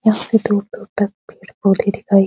यहां पे दूर-दूर तक पेड़-पौधे दिखाई --